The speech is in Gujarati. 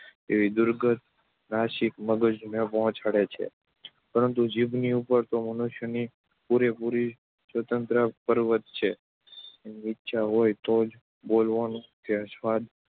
એવી દુર્ગંધ નાસિકા મગજને પહોંચાડે છે, પરંતુ જીભની ઉપર તો મનુષ્યની પૂરેપૂરી સત્તા પ્રવર્તે છે. એની ઇચ્છા હોય તો જ બોલવાનું કે સ્વાદ